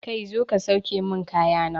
Kai zo ka sauke mun kaya na!